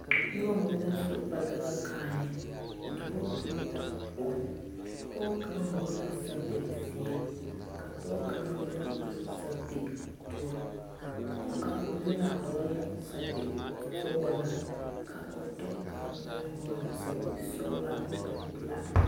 Noba mine la su ba daga kaayɛ dɔɔ be la ba poɔ pɔge hɔgele la zapili zeɛ ka pɔge kaŋa meŋ gba zapili pelaa ba kaŋa la vɔgele la zapili sɔgelaa ka o tɔ kaŋ meŋ vɔgele zapili sɔgelaa are ko o